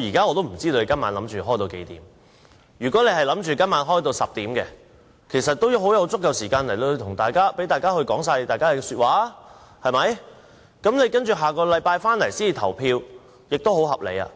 我不知道今天的會議何時完結，如果你打算在晚上10時宣布休會，其實就有足夠時間讓大家發言，然後在下星期三的立法會會議才進行表決，這個安排很合理，為